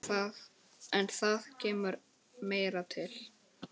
En það kemur meira til.